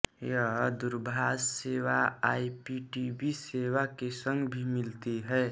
यह दूरभाष सेवा आईपीटीवी सेवा के संग भी मिलती है